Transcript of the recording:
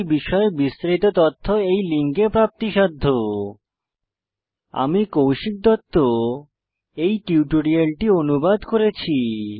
এই বিষয়ে বিস্তারিত তথ্য এই লিঙ্কে প্রাপ্তিসাধ্য httpspoken tutorialorgNMEICT Intro আমি কৌশিক দত্ত এই টিউটোরিয়ালটি অনুবাদ করেছি